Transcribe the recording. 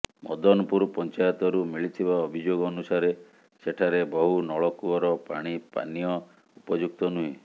ମଦନପୁର ପଞ୍ଚାୟତରୁ ମିଳିଥିବା ଅଭିଯୋଗ ଅନୁସାରେ ସେଠାରେ ବହୁ ନଳକୂଅର ପାଣି ପାନୀୟ ଉପଯୁକ୍ତ ନୁହେଁ